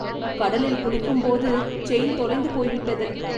கடலில் குளிக்கும் போது செயின் தொலைந்து போய்விட்டது.